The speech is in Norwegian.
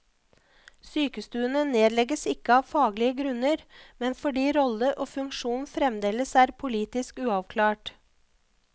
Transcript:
Sykestuene nedlegges ikke av faglige grunner, men fordi rolle og funksjon fremdeles er politisk uavklart.